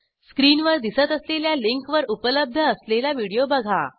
स्क्रीनवर दिसत असलेल्या लिंकवर उपलब्ध असलेला व्हिडिओ बघा